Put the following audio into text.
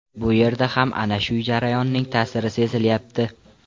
Bu yerda ham ana shu jarayonning ta’siri sezilyapti.